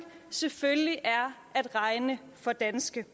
selvfølgelig er at regne for danske